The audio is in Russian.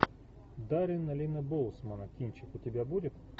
даррен линна боусмана кинчик у тебя будет